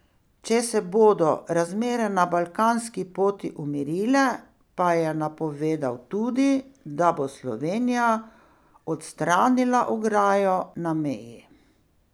Če se bodo razmere na balkanski poti umirile pa je napovedal tudi, da bo Slovenija odstranila ograjo na meji.